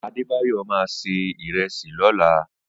Adedayo ma ṣe ìrẹsì lọ́la.